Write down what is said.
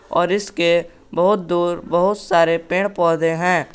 और इसके बहुत दूर बहुत सारे पेड़ पौधे हैं।